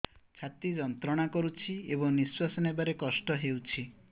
ଛାତି ଯନ୍ତ୍ରଣା କରୁଛି ଏବଂ ନିଶ୍ୱାସ ନେବାରେ କଷ୍ଟ ହେଉଛି